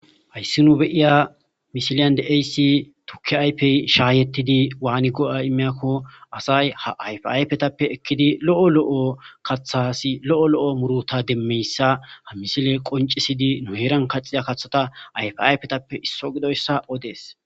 hayssi nu be'iya misiliyan de'ayssi tukki aypey shaayettidi waani go'a imeyakko asay ha ayfa aypetappe ekkidi lo'o lo'o kathasi lo'o lo'o muruta demmeyssa ha misile qoncisidi nu heeran kaxida kathata ayfa ayfetappe isso gidoyssa odees